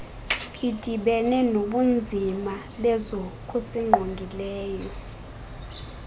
idibene nobunzima bezokusingqongileyo